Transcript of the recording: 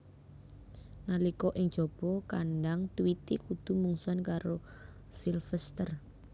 Nalika ing jaba kandhang Tweety kudu mungsuhan karo Sylvester